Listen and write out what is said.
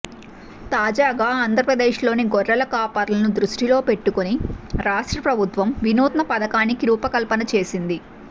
తాజాగా ఆంధ్రప్రదేశ్లోని గొర్రెల కాపరులను దృష్టిలో పెట్టుకుని రాష్ట్ర ప్రభుత్వం వినూత్న పథకానికి రూపకల్పన చేసింది